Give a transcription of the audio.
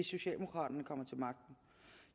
socialdemokraterne kommer til magten